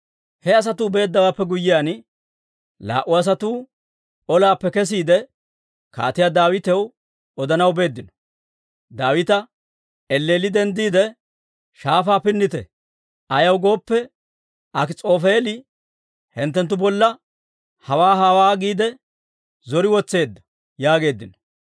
He asatuu beeddawaappe guyyiyaan, laa"u asatuu ollaappe kesiide, Kaatiyaa Daawitaw odanaw beeddino; Daawita, «Elleelli denddiide shaafaa pinnite; ayaw gooppe, Akis'oofeeli hinttenttu bolla hawaa hawaa giide zori wotseedda» yaageeddino.